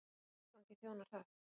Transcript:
Hvaða tilgangi þjónar það?